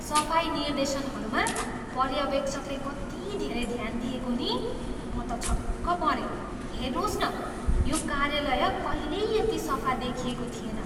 सफाइ निर्देशनहरूमा पर्यवेक्षकले कति धेरै ध्यान दिएको नि! म त छक्क परेँ। हेर्नुहोस् न, यो कार्यालय कहिल्यै यति सफा देखिएको थिएन!